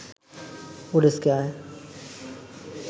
ওডেস্কে আয়